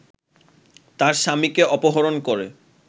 তার স্বামীকে অপহরণ করে